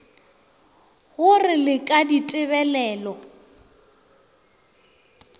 go re le ka ditebelelo